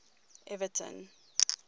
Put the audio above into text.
everton